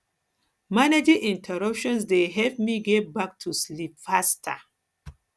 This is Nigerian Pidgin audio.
managing interruptions dey help me get back to sleep faster